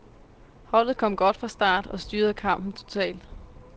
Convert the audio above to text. Holdet kom godt fra start og styrede kampen totalt.